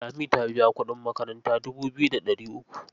Lami ta biya kuɗin makaranta dubu biyu da ɗari uku.